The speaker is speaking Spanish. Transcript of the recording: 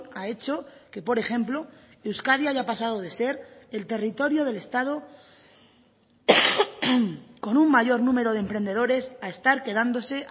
ha hecho que por ejemplo euskadi haya pasado de ser el territorio del estado con un mayor número de emprendedores a estar quedándose